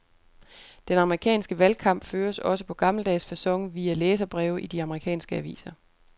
Den amerikanske valgkamp føres også på gammeldags facon via læserbreve i de amerikanske aviser.